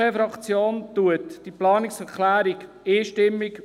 Die SVP-Fraktion unterstützt diese Planungserklärung einstimmig.